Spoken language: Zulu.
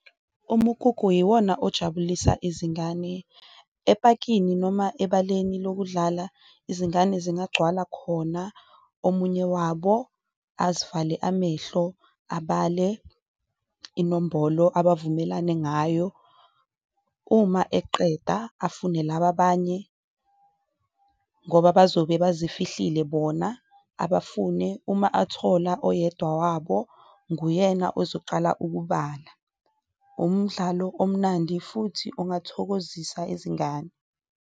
Umkhukhu yiwona okujabulisa izingane epakini noma ebaleni lokudlala, izingane zigcwala khona omunye wabo azivale amehlo abale inombolo abavumelanale ngayo, uma eqeda afune laba abanye, ngoba bazobe bazifihlile bona. Abafune uma athola oyedwa wabo nguyena ozoqala ukubala, umdlalo omnandi futhi ongathokozisa izingane